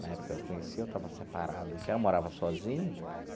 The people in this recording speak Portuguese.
Na época que eu a conheci, eu estava separado, já morava sozinho.